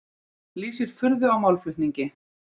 Lýsir furðu á málflutningi